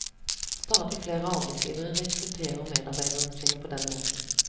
Stadig flere arbeidsgivere rekrutterer medarbeiderne sine på den måten.